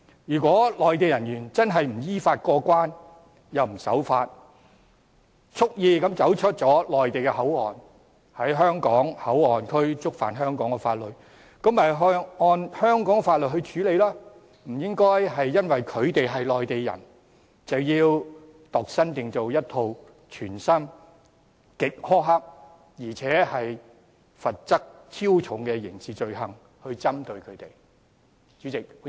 如果內地人員真的不依法過關又不守法，蓄意離開內地口岸區並在香港口岸區觸犯香港法律，便應按香港法律處理，不應因他們是內地人而度身訂造一套全新、極苛刻，而且罰則超重的刑事罪行條文來針對他們。